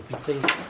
Orada hər şey beşdir.